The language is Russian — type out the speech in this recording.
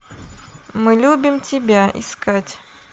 мы любим тебя искать